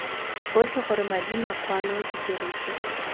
otlhe gore madi makwalo didiriswa